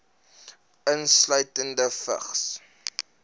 insluitende vigs